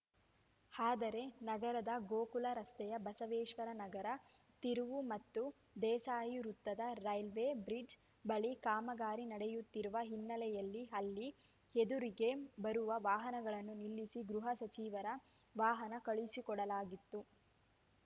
ಆದರೆ ನಗರದ ಗೋಕುಲ ರಸ್ತೆಯ ಬಸವೇಶ್ವರ ನಗರ ತಿರುವು ಮತ್ತು ದೇಸಾಯಿ ವೃತ್ತದ ರೈಲ್ವೆ ಬ್ರಿಡ್ಜ್‌ ಬಳಿ ಕಾಮಗಾರಿ ನಡೆಯುತ್ತಿರುವ ಹಿನ್ನೆಲೆಯಲ್ಲಿ ಅಲ್ಲಿ ಎದುರಿಗೆ ಬರುವ ವಾಹನಗಳನ್ನು ನಿಲ್ಲಿಸಿ ಗೃಹ ಸಚಿವರ ವಾಹನ ಕಳುಹಿಸಿಕೊಡಲಾಗಿತ್ತು